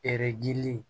gili